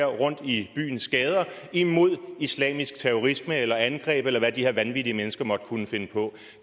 rundt i byens gader imod islamisk terrorisme eller angreb eller hvad de her vanvittige mennesker måtte kunne finde på